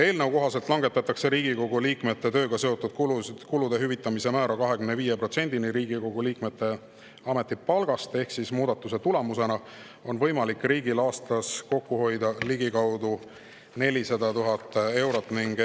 Eelnõu kohaselt langetatakse Riigikogu liikme tööga seotud kulude hüvitamise määra 25%-ni Riigikogu liikme ametipalgast ehk muudatuse tulemusena on riigil võimalik aastas kokku hoida ligikaudu 400 000 eurot.